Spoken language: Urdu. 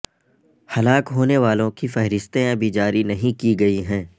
ہلاک ہونے والوں کی فہرستیں ابھی جاری نہیں کی گئی ہیں